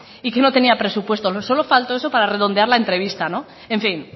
y que no tenía presupuesto solo faltó eso para redondear la entrevista en fin